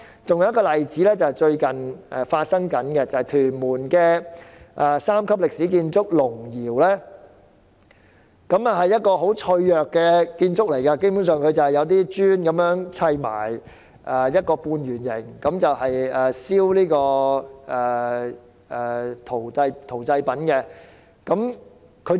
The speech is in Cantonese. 還有一個例子是最近發生的，就是屯門三級歷史建築青山龍窯，那是一個很脆弱的建築，基本上只是由一些磚砌成一個半圓建築，用來燒製陶製品的。